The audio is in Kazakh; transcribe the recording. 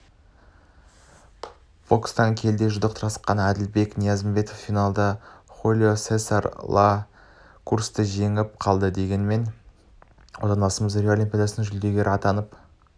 бокстан келіде жұдырықтасқанәділбек ниязымбетовақтық финалда хулио сесар ла крустанжеңіліп қалды дегенмен отандасымыз рио олимпиадасының жүлдегері атанып